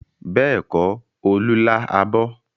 Bẹ́ẹ̀kọ́, Olú lá abọ́.